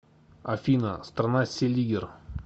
афина страна селигер